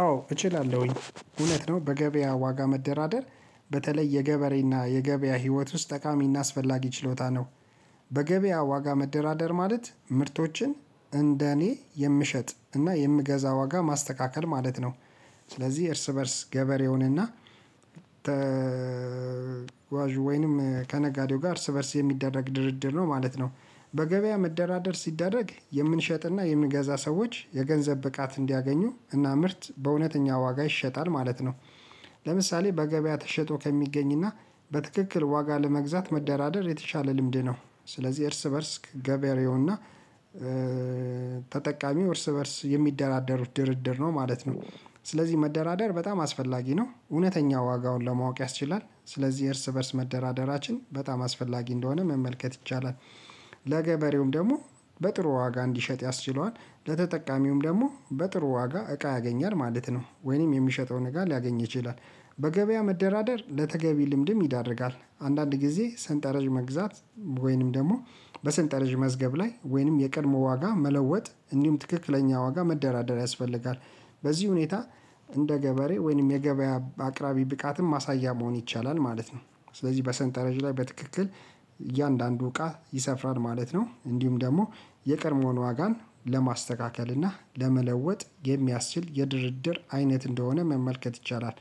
አዎ እችላለሁኝ እውነት ነው በገበያ ዋጋ መደራደር በተለይ የገበሬና የገበያ ህይወት ውስጥ ጠቃሚና አስፈላጊ ችሎታ ነው። በገበያ ዋጋ መደራደር ማለት ምርቶችን እንደኔ የምሸጥ እና የምገዛ ዋጋ ማስተካከል ማለት ነው። ስለዚ እርስ በእርስ ገበሬውን እና ተጓዥ ወይንም ከነጋዴው ጋር እርስ በእርስ የሚደረግ ድርድር ነው ማለት ነው። በገበያ መደራደር ሲደረግ የምንሸጥና የምንገዛ ሰዎች የገንዘብ ብቃት እንዲያገኙ እና ምርት በእውነተኛ ዋጋ ይሸጣል ማለት ነው። ለምሳሌ በገበያ ተሸጦ ከሚገኝና በትክክል ዋጋ ለመግዛት መደራደር የተሻለ ልምድ ነው። ስለዚ እርስ በእርስ ከገበሬውና ተጠቃሚው እርስ በእርስ የሚደራደሩት ድርድር ነው ማለት ነው። ስለዚ መደራደር በጣም አስፈላጊ ነው እውነተኛ ዋጋውን ለማወቅ ያስችላል ስለዚ እርስ በእርስ መደራደራችን በጣም አስፈላጊ እንደሆነ መመልከት ይቻላል። ለገበሬውም ደሞ በጥሩ ዋጋ እንዲሸጥ ያስችለዋል ለተጠቃሚውም ደሞ በጥሩ ዋጋ እቃ ያገኛል ማለት ነው ወይንም የሚሸጠውን እቃ ሊያገኝ ይችላል። በገበያ መደራደር ለተገቢ ልምድም ይዳርጋል አንዳንድ ጊዜ ሰንጠረዥ መግዛት ወይንም ደሞ በሰንጠረዥ መዝገብ ላይ ወይንም የቀድሞ ዋጋ መለወጥ እንዲውም ትክክለኛ ዋጋ መደራደር ያስፈልጋል። በዚ ሁኔታ እንደ ገበሬ ወይንም የገበያ አቅራቢ ብቃትን ማሳያ መሆን ይቻላል ማለት ነው። ስለዚ በሰንጠረዥ ላይ በትክክል እያንዳንዱ እቃ ይሰፍራል ማለት ነው እንዲሁም ደሞ የቀድሞን ዋጋን ለማስተካከል እና ለመለወጥ የሚያስችል የድርድር አይነት እንደሆነ መመልከት ይቻላል።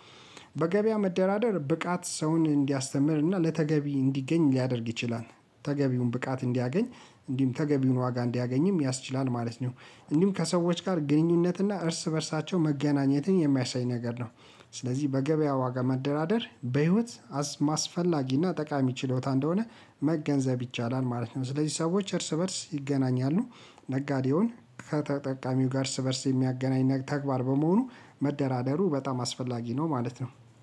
በገበያ መደራደር ብቃት ሰውን እንዲያስተምር እና ለተገቢ እንዲገኝ ሊያደርግ ይችላል። ተገቢውን ብቃት እንዲያገኝ እንዲሁም ተገቢውን ዋጋ እንዲያገኝም ያስችላል ማለት ነው። እንዲሁም ከሰዎች ጋር ግንኙነት እና እርስ በእርሳቸው መገናኘትን የሚያሳይ ነገር ነው። ስለዚ በገበያ ዋጋ መደራደር በህይወት አስማስፈላጊና ጠቃሚ ችሎታ እንደሆነ መገንዘብ ይቻላል ማለት ነው። ስለዚ ሰዎች እርስ በእርስ ይገናኛሉ ነጋዴውን ከተጠቃሚው ጋር እርስ በእርስ የሚያገናኝ ተግባር በመሆኑ መደራደሩ በጣም አስፈላጊ ነው ማለት ነው።